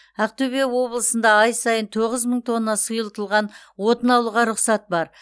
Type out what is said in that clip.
ақтөбе облысында ай сайын тоғыз мың тонна сұйытылған отын алуға рұқсат бар